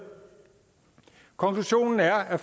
konklusionen er at